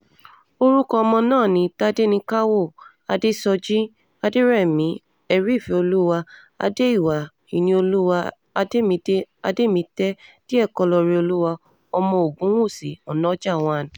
orúkọ ọmọ náà ni tádéníkàwọ́ adéṣọ́jí adẹ̀rẹ̀mí ẹ̀ríìfẹ́olúwà adé-ìwà ìníolúwá àdèmídé àdèmítẹ díẹ̀kọlóoreolúwa ọmọ ogunwúsì ọ̀nájà one